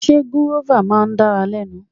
Sé gúrọ́fà náà dára lẹ́nu.